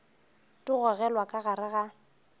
di gogelwa ka gare ga